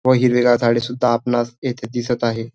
व हिरवीगार झाडे सुद्धा आपणास येथे दिसत आहे.